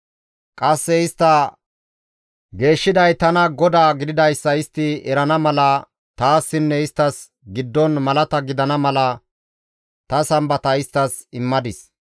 Qasse istta geeshshiday tana GODAA gididayssa istti he wode erana mala taassinne isttas giddon malata gidana mala ta Sambata isttas immadis.